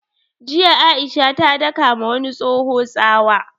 Jiya Aisha ya daka ma wani tsoho tsawa